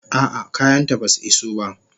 A'a, kayanta basu iso ba.